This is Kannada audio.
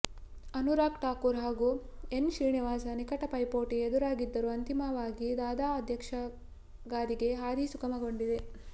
ಅನುರಾಗ್ ಠಾಕೂರ್ ಹಾಗೂ ಎನ್ ಶ್ರೀನಿವಾಸ್ ನಿಕಟ ಪೈಪೋಟಿ ಎದುರಾಗಿದ್ದರೂ ಅಂತಿಮವಾಗಿ ದಾದಾ ಅಧ್ಯಕ್ಷಗಾದಿಗೆ ಹಾದಿ ಸುಗಮಗೊಂಡಿದೆ